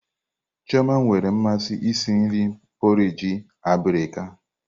Chioma nwere mmasị isi nri porrage abirika.